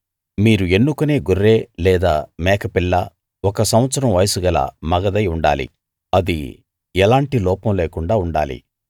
మీరు ఎన్నుకొనే గొర్రె లేదా మేక పిల్ల ఒక సంవత్సరం వయసు గల మగదై ఉండాలి అది ఎలాంటి లోపం లేకుండా ఉండాలి